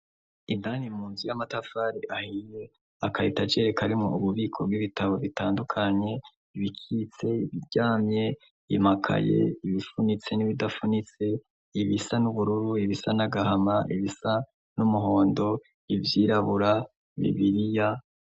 Inani mu nzi ya amatafari ahiye akayita ajereka arimwo ububiko bw'ibitabo bitandukanye ibikitse ibiryamye imakaye ibifunitse n'ibidafunitse ibisa n'ubururu ibisa n'agahama ibisa n'umuhondo ivyirabura mibiriya.